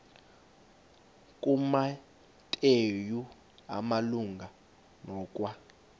kumateyu malunga nokwa